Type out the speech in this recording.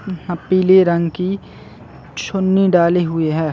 अ पीले रंग की चुन्नी डाली हुई है।